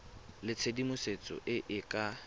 le tshedimosetso e e ka